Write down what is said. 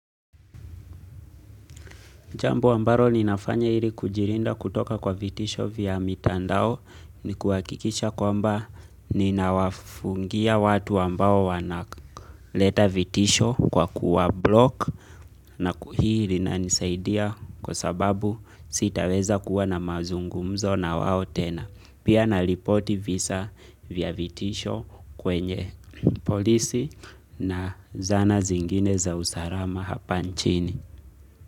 Jambo ambalo ninafanya ili kujilinda kutoka kwa vitisho vya mitandao ni kuhakikisha kwamba ninawafungia watu ambao wanaleta vitisho kwa kuwa block na kuhiri nanisaidia kwa sababu sitaweza kuwa na mazungumzo na wao tena. Pia na ripoti visa vya vitisho kwenye polisi na zana zingine za usalama hapa nchini.